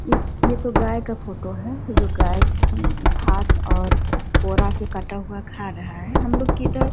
ये तो गाय का फोटो है। जो गाय घास और के कटा हुआ खा रहा है। हम लोग के इधर --